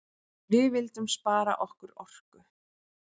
Við vildum spara okkar orku.